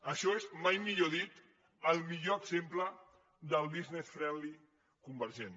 això és mai més ben dit el millor exemple del business friendly convergent